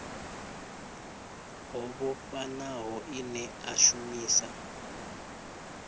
ho vhofhanaho ine a shumisa